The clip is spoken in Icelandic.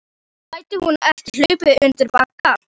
Gæti hún ekki hlaupið undir bagga?